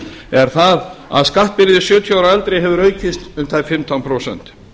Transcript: er það að skattbyrði sjötíu ára og eldri hefur aukist um tæp fimmtán prósent